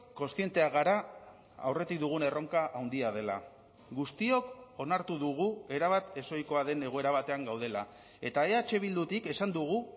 kontzienteak gara aurretik dugun erronka handia dela guztiok onartu dugu erabat ez ohikoa den egoera batean gaudela eta eh bildutik esan dugu